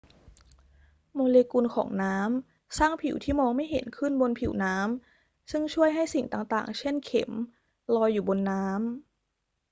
โมเลกุลของน้ำสร้างผิวที่มองไม่เห็นขึ้นบนผิวน้ำซึ่งช่วยให้สิ่งต่าง ๆ เช่น เข็ม ลอยอยู่บนน้ำ